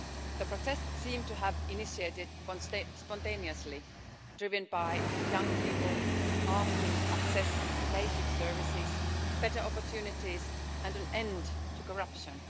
The protests seem to have initiated spontaneously, driven by young people asking for access to basic services, better opportunities and an end to corruption.